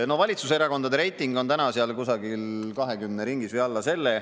No valitsuserakondade reiting on täna kusagil 20% ringis või alla selle.